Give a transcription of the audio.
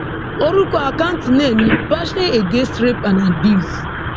orúkọ àkáǹtì náà ni passion against rape and abuse